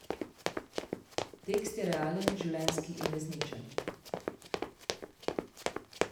Tekst je realen, življenjski in resničen.